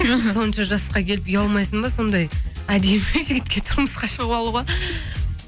іхі сонша жасқа келіп ұялмайсың ба сондай әдемі жігітке тұрмысқа шығып алуға